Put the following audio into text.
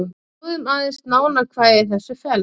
Skoðum aðeins nánar hvað í þessu felst.